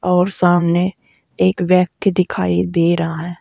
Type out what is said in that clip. और सामने एक व्यक्ति दिखाई दे रहा है।